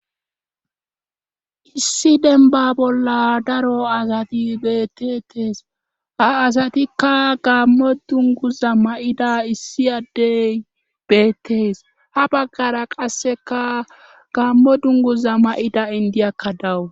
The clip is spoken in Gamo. issi denba bolla daro asati beettettees ha asatikka gammo dunguza ma7ida issi addey beettees ha baggara qasseka gammo dunguza ma7ida indiyakka dawu